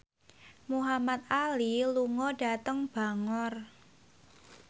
Muhamad Ali lunga dhateng Bangor